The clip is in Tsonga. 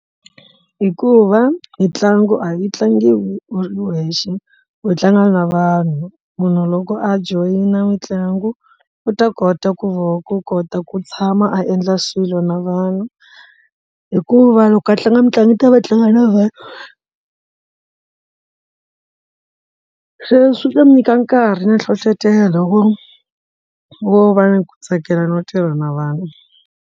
Hikuva mitlangu a yi tlangiwa u ri wexe u tlanga na vanhu munhu loko a joyina mitlangu u ta kota ku va ku kota ku tshama a endla swilo na vanhu hikuva loko a tlanga mitlangu yi ta va tlanga na vona se swi ta ndzi nyika nkarhi na nhlohlotelo ku vo va ni ku tsakela no tirha na vanhu.